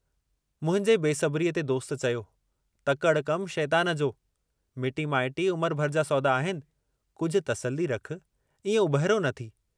मुंहिंजे बेसब्रीअ ते दोस्त चयो, तकड़ि कमु शेतान जो, मिटी माइटी उमुरु भर जा सौदा आहिनि, कुझु तसली रखु, इऐं उॿहिरो न थी।